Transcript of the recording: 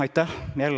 Aitäh!